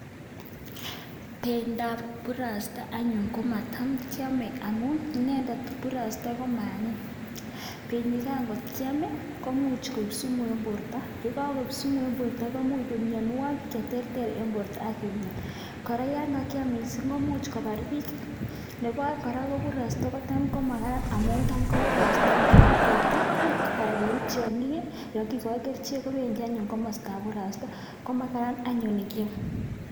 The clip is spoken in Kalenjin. bendoab burasta anyun komatam kyome inendet burasta komaanyiny, benyigan kot kyaam iih komuch koek sumu en borto, yegagoib sumu en borto komuch koib myonwogik cheterter en borto ak imyan, koraa yan kakyam kot mising komuch kobar biik , nebo oeng kora kotam komagat amuun tam koburasta ngeruut teta anan ngeruut tyongiik iih yon kigoin kerichek kogenyaaa komostab burasta komagat anyun ngyaam.